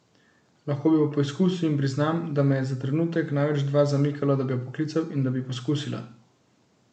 Lahko bi pa poskusil in priznam, da me je za trenutek, največ dva zamikalo, da bi jo poklical in da bi poskusila.